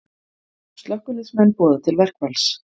Slökkviliðsmenn boða til verkfalls